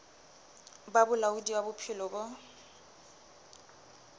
ba bolaodi ba bophelo bo